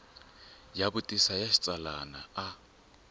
ya xivutiso xa xitsalwana a